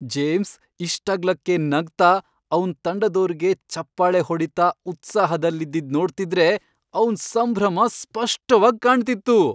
James ಇಷ್ಟಗ್ಲಕ್ಕೆ ನಗ್ತಾ ಅವ್ನ್ ತಂಡದೋರ್ಗೆ ಚಪ್ಪಾಳೆ ಹೊಡೀತಾ ಉತ್ಸಾಹದಲ್ಲಿದ್ದಿದ್ದ್ ನೋಡ್ತಿದ್ರೆ ಅವ್ನ್ ಸಂಭ್ರಮ ಸ್ಪಷ್ಟವಾಗ್ ಕಾಣ್ತಿತ್ತು.